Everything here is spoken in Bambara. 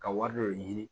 Ka wari dɔ de ɲini